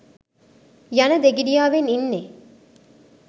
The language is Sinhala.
යන දෙගිඩියාවෙන් ඉන්නෙ.